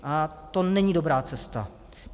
A to není dobrá cesta.